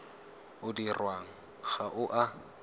o dirwang ga o a